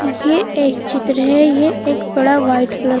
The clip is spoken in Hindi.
ये एक चित्र है ये एक बड़ा वाइट कलर --